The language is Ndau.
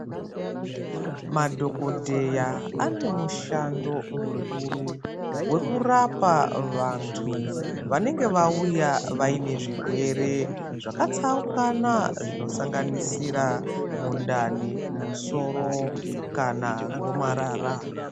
Madhokodheya ane mushando mukuru wekurapa vantu vanenge vauya vaine zvirwere zvakatsaukana zvinosanganisira mundani musoro kana gomarara.